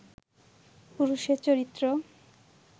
পুরুষের চরিত্র